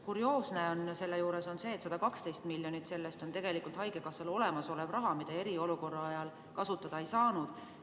Kurioosne on selle juures see, et 112 miljonit sellest on tegelikult haigekassal olemasolev raha, mida eriolukorra ajal kasutada ei saanud.